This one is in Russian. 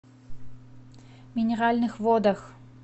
минеральных водах